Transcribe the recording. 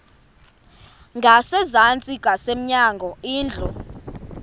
ngasezantsi ngasemnyango indlu